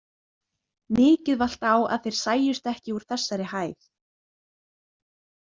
Mikið valt á að þeir sæjust ekki úr þessari hæð.